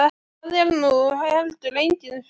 Það er nú heldur engin furða.